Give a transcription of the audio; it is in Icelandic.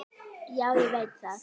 Já, ég veit það!